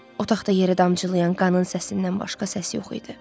Otaqda yerə damcılayan qanın səsindən başqa səs yox idi.